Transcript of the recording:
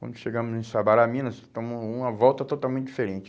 Quando chegamos em Sabará, Minas, tomamos uma volta totalmente diferente.